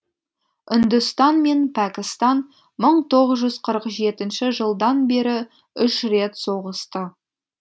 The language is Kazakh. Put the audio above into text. үндістан мен пәкістан мың тоғыз жүз қырық жетінші жылдан бері үш рет соғысты